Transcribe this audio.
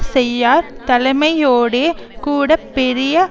செய்யார் தலைமையோடே கூட பெரிய